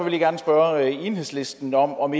jeg gerne spørge enhedslisten om om